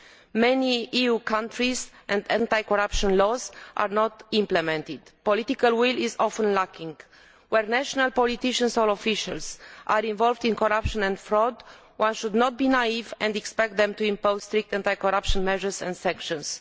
In many EU countries anti corruption laws are not implemented. Political will is often lacking. Where national politicians or officials are involved in corruption and fraud, one should not be naive and expect them to impose strict anti corruption measures and sanctions.